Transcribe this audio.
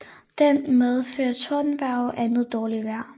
Den medfører tordenvejr og andet dårligt vejr